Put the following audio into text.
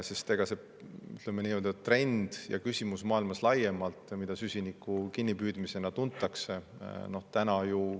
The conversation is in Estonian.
See nii-öelda trend ja küsimus, mida süsiniku kinnipüüdmisena tuntakse, on maailmas laiemalt.